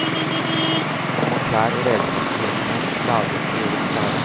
Nå må klær og redskap for vinteren lages og gjøres klare.